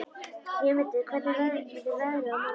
Vémundur, hvernig verður veðrið á morgun?